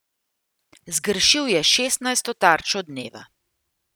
Zgrešil je šestnajsto tarčo dneva.